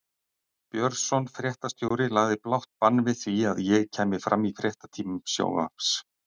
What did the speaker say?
Björnsson fréttastjóri lagði blátt bann við því að ég kæmi fram í fréttatímum sjónvarps.